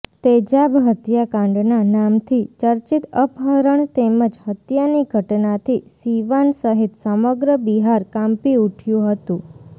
તેજાબ હત્યાકાંડના નામથી ચર્ચિત અપહરણ તેમજ હત્યાની ઘટનાથી સિવાન સહિત સમગ્ર બિહાર કાંપી ઉઠ્યું હતું